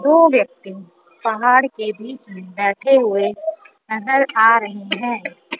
वो व्यक्ति पहाड़ के बीचे में बैठे हुए नजर आ रहा है।